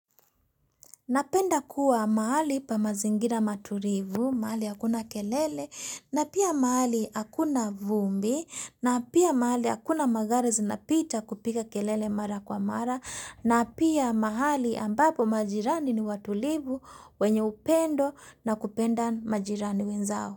Napenda kuwa mahali pa mazingira matulivu, mahali hakuna kelele, na pia mahali hakuna vumbi, na pia mahali hakuna magari zinapita kupiga kelele mara kwa mara, na pia mahali ambapo majirani ni watulivu wenye upendo na kupenda majirani wenzao.